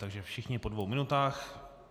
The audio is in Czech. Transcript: Takže všichni po dvou minutách.